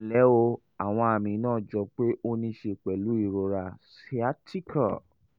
ẹ ǹlẹ́ o àwọn àmì náà jọ pé ó ní í ṣe pẹ̀lú ìrora sciatica